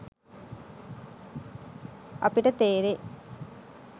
අපිට තේරෙයි.